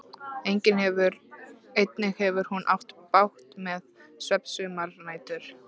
Einnig hefur hún átt bágt með svefn sumar nætur.